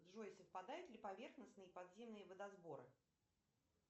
джой совпадают ли поверхностные и подземные водосборы